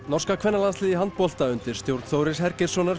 norska kvennalandsliðið í handbolta undir stjórn Þóris